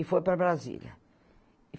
E foi para Brasília.